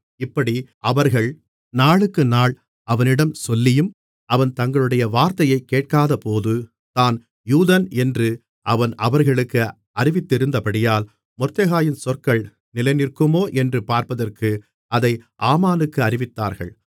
இப்படி அவர்கள் நாளுக்குநாள் அவனிடம் சொல்லியும் அவன் தங்களுடைய வார்த்தையைக் கேட்காதபோது தான் யூதன் என்று அவன் அவர்களுக்கு அறிவித்திருந்தபடியால் மொர்தெகாயின் சொற்கள் நிலைநிற்குமோ என்று பார்ப்பதற்கு அதை ஆமானுக்கு அறிவித்தார்கள்